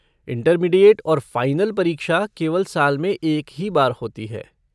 Intermediate और final परीक्षा केवल साल में एक ही बार होती है।